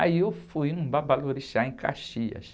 Aí eu fui num babalorixá em Caxias.